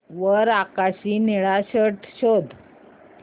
वर आकाशी निळा शर्ट शोध